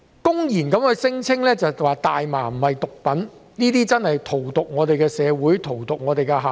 他們公然聲稱大麻不是毒品，實在是荼毒我們的社會、荼毒我們的下一代。